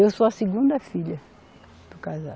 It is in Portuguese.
Eu sou a segunda filha do casal.